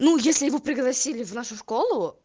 ну если его пригласили в нашу школу